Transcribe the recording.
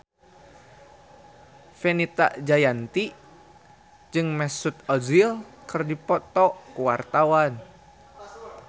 Fenita Jayanti jeung Mesut Ozil keur dipoto ku wartawan